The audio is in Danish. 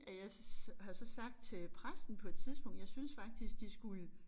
At jeg så har så sagt til præsten på et tidspunkt jeg synes faktisk de skulle